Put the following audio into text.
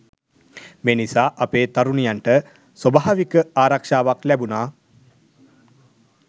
මේ නිසා අපේ තරුණියන්ට ස්වභාවික ආරක්ෂාවක් ලැබුණා